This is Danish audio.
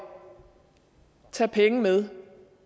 tage penge med